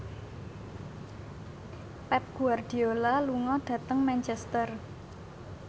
Pep Guardiola lunga dhateng Manchester